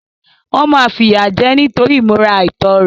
Wọ́n máa fìyà jẹ ẹ́ nítorí ìmúra àìtọ́ rẹ̀.